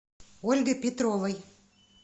ольгой петровой